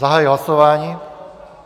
Zahajuji hlasování.